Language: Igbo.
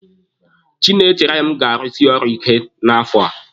Chinaechere m ga-arusi ọrụ ike n'afọ.